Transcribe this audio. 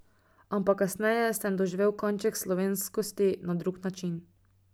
Ampak kasneje sem doživel kanček slovenskosti na drug način.